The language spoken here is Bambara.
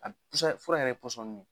A b se ka fura yɛrɛ pɔsɔni de